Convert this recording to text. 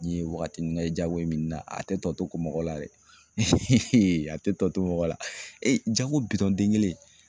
Nin ye waagati nin kɛ Jago in min ni na a tɛ tɔ kun mɔgɔ la dɛ a tɛ tɔ to mɔgɔ la Jago bitɔn den kelen.